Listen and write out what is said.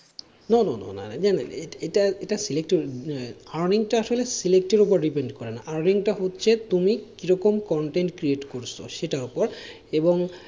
No no না না এটা earning টা আসলে select এর উপরে depend করে না, earning টা হচ্ছে তুমি কিরকম content create করছো সেটার উপর এবং,